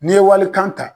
N'i ye walikan ta